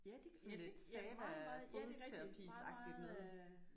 Sådan et et Sahva fodterapisagtigt noget